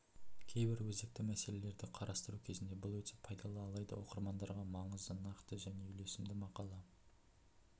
кейбір өзекті мәселелерді қарастыру кезінде бұл өте пайдалы алайда оқырмандарға маңызды нақты жне үйлесімді мақала